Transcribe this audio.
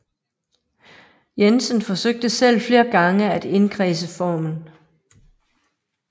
Jensen forsøgte selv flere gange at indkredse formen